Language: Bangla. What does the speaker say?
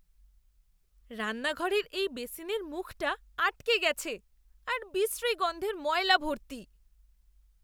রান্নাঘরের এই বেসিনের মুখটা আটকে গেছে আর বিশ্রী গন্ধের ময়লা ভর্তি।